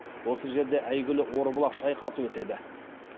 осы жерде әйгілі орбұлақ шайқасы өтеді